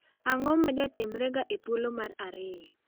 Ang'o majatimrega e thuolo mar ariyo?